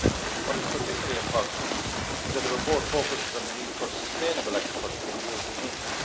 What is particularly important is that the report focuses on the need for sustainable agriculture in the European Union.